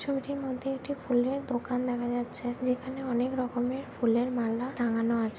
ছবিটির মধ্যে একটি ফুলের দোকান দেখা যাচ্ছে যেখানে অনেক রকমের ফুলের মালা টাঙ্গানো আছে।